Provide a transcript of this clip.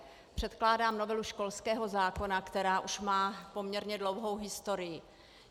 Předkládám novelu školského zákona, která už má poměrně dlouhou historii.